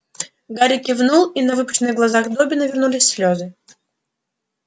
гарри кивнул и на выпученных глазах добби навернулись слёзы